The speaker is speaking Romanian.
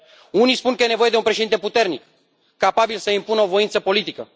Unii spun că e nevoie de un președinte puternic, capabil să impună o voință politică.